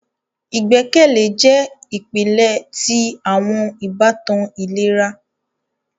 Igbẹkẹle jẹ ipilẹ ti awọn ibatan ilera.